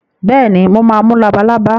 Bẹ́ẹ̀ni, mo máa mú labalábá.